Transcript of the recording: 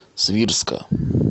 свирска